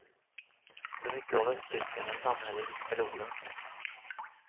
Så mycket av östtyskarnas samhälle gick förlorat.